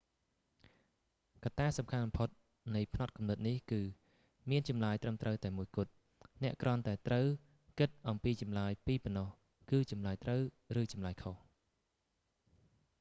កត្តាសំខាន់បំផុតនៃផ្នត់គំនិតនេះគឺ៖ មានចម្លើយត្រឹមត្រូវតែមួយគត់ អ្នកគ្រាន់តែត្រូវគិតអំពីចម្លើយពីរប៉ុណ្ណោះ គឺចម្លើយត្រូវ ឬចម្លើយខុស